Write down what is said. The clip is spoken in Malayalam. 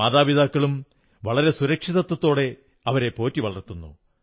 മാതാപിതാക്കളും വളരെ സുരക്ഷിതത്വത്തോടെ അവരെ പോറ്റി വളർത്തുന്നു